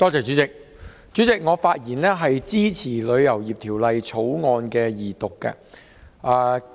主席，我發言支持二讀《旅遊業條例草案》。